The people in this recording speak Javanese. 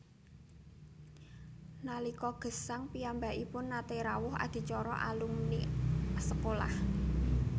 Nalika gesang piyambakipun naté rawuh adicara alumni sekolah